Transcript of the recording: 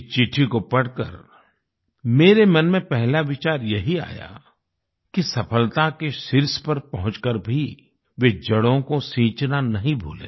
इस चिट्ठी को पढ़कर मेरे मन में पहला विचार यही आया कि सफलता के शीर्ष पर पहुँच कर भी वे जड़ों को सींचना नहीं भूले